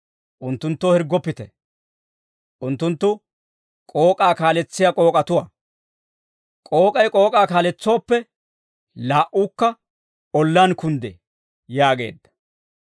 Unttunttoo hirggoppite; unttunttu k'ook'aa kaaletsiyaa k'ook'atuwaa; k'ook'ay k'ook'aa kaaletsooppe, laa"uukka ollaan kunddee» yaageedda.